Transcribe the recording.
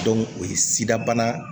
o ye sida bana